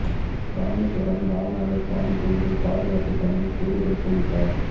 ராமேசுவரம் ராமநாத சுவாமி கோயில் பாதுகாப்புப் பணியில் கூடுதல் போலீஸாா்